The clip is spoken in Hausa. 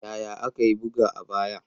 Yaya aka yi buga a baya?